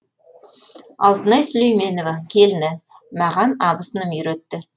алтынай сүлейменова келіні маған абысыным үйретті